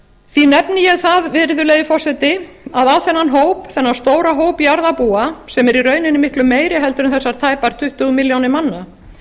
því nefni ég það virðulegi forseti að á þennan hóp þennan stóra hóp jarðarbúa sem er í rauninni miklu meiri en þessar tæpar tuttugu milljónir manna